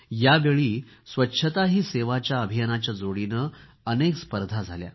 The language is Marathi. यावेळी स्वच्छता ही सेवाच्या अभियानाच्याह जोडीने अनेक स्पर्धा झाल्या